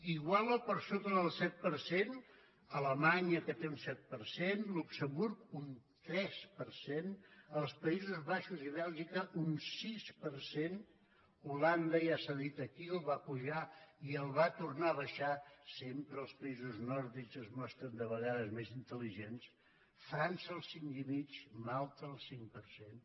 igual o per sota del set per cent alemanya que té un set per cent luxemburg un tres per cent els països baixos i bèlgica un sis per cent holanda ja s’ha dit aquí el va apujar i el va tornar a baixar sempre els països nòrdics es mostren de vegades més intel·ligents frança el cinc i mig malta el cinc per cent